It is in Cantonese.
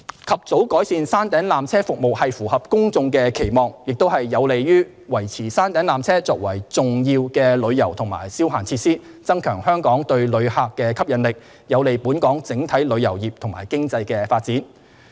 及早改善山頂纜車服務符合公眾的期望，亦有利於維持山頂纜車作為重要的旅遊及消閒設施；增強香港對旅客的吸引力，有利本港整體旅遊業及經濟的發展。